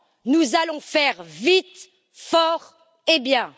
nous allons faire vite, fort et bien.